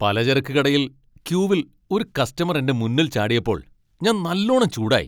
പലചരക്ക് കടയിൽ ക്യൂവിൽ ഒരു കസ്റ്റമർ എന്റെ മുന്നിൽ ചാടിയപ്പോൾ ഞാൻ നല്ലോണം ചൂടായി.